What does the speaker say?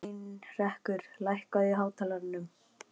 Heinrekur, lækkaðu í hátalaranum.